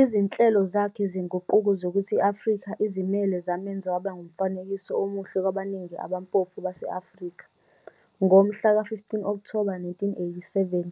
Izinhlelo zakhe zenguquko zokuthi i-Afrika izimele zamenza waba ngumfanekiso omuhle kwabaningi abampofu base-Afrika. Ngomhla ka-15 Okthoba 1987,